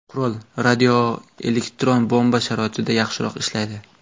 Qurol radioelektron bomba sharoitida yaxshiroq ishlaydi.